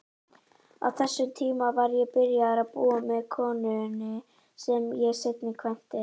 Á þessum tíma var ég byrjaður að búa með konunni sem ég seinna kvæntist.